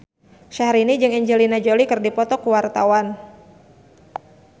Syahrini jeung Angelina Jolie keur dipoto ku wartawan